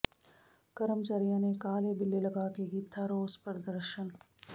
ਕਰਮਚਾਰੀਆਂ ਨੇ ਕਾਲੇ ਬਿੱਲੇ ਲਗਾ ਕੇ ਕੀਤਾ ਰੋਸ ਪ੍ਰਦਰਸ਼ਨ